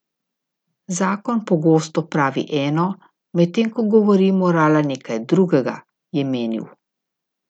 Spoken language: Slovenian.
Zakon pogosto pravi eno, medtem ko govori morala nekaj drugega, je menil.